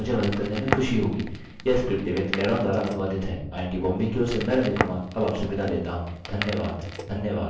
यह स्क्रिप्ट देवेन्द्र कैरवान द्वारा अनुवादित है आई आई टी बॉम्बे की ओर से मैं रवि कुमार अब आपसे विदा लेता हूँ धन्यवाद